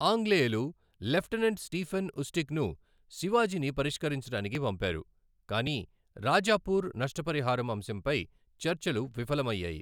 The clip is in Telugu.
ఆంగ్లేయులు లెఫ్టినెంట్ స్టీఫెన్ ఉస్టిక్ను శివాజీని పరిష్కరించటానికి పంపారు, కాని రాజాపూర్ నష్టపరిహారం అంశంపై చర్చలు విఫలమయ్యాయి.